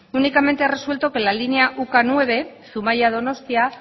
únicamente ha resuelto que la línea u ka nueve zumaia donostia